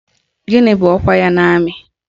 Gịnị bụ ọkwa ya n'amị?